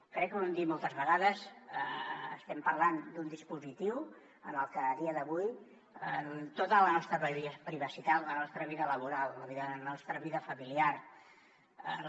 crec que ho hem dit moltes vegades estem parlant d’un dispositiu en el que a dia d’avui tota la nostra privacitat la nostra vida laboral la nostra vida familiar